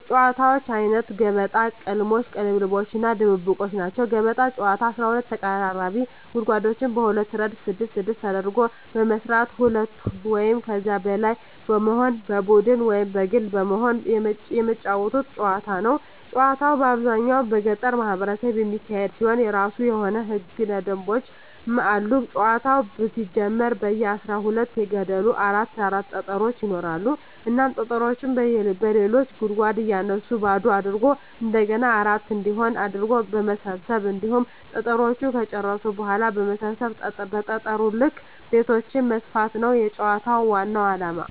የጨዋታወች አይነት ገበጣ፣ ቅልሞሽ(ቅልልቦሽ) እና ድብብቆሽ ናቸዉ። ገበጣ ጨዋታ 12 ተቀራራቢ ጉድጓዶችን በሁለት እረድፍ ስድስት ስድስት አድርጎ በመስራት ሁለት ወይም ከዚያ በላይ በመሆን በቡድን ወይም በግል በመሆን የመጫወቱት ጨዋታ ነዉ። ጨዋታዉ በአብዛኛዉ በገጠሩ ማህበረሰብ የሚካሄድ ሲሆን የእራሱ የሆኑ ህገ ደንቦችም አሉት ጨዋታዉ ሲጀመር በየ አስራ ሁለት ገደሉ አራት አራት ጠጠሮች ይኖራሉ እናም ጠጠሮችን በሌሎች ገደሎች እያነሱ ባዶ አድርጎ እንደገና አራት እንዲሆን አድርጎ በመሰብ ሰብ ሁሉንም ጠጠሮች ከጨረሱ በኋላ በሰበሰቡት ጠጠር ልክ ቤቶችን መስፋት ነዉ የጨዋታዉ ዋናዉ አላማ።